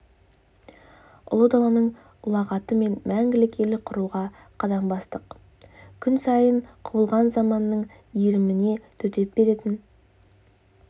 ұлы даланың ұлағатымен мәңгілік ел құруға қадам бастық күн сайын құбылған замананың иіріміне төтеп беретін